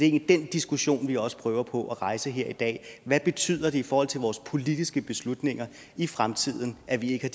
egentlig den diskussion vi også prøver på at rejse her i dag hvad betyder det i forhold til vores politiske beslutninger i fremtiden at vi ikke